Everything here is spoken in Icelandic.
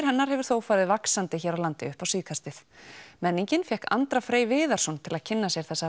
hennar hefur þó farið vaxandi hér á landi upp á síðkastið menningin fékk Andra Frey Viðarsson til að kynna sér þessa